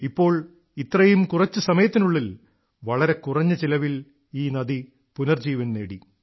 ഇപ്പോൾ ഇത്രയും കുറച്ചു സമയത്തിനുള്ളിൽ വളരെ കുറഞ്ഞ ചിലവിൽ ഈ നദി പുനർജീവനം നേടി